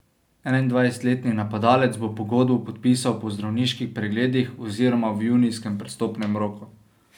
Enaindvajsetletni napadalec bo pogodbo podpisal po zdravniških pregledih oziroma v junijskem prestopnem roku.